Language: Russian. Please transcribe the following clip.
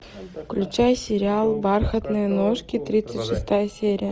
включай сериал бархатные ножки тридцать шестая серия